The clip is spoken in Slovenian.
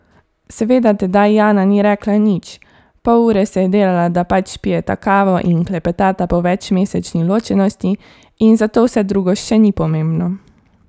Seveda tedaj Jana ni rekla nič, pol ure se je delala, da pač pijeta kavo in klepetata po večmesečni ločenosti in zato vse drugo še ni pomembno.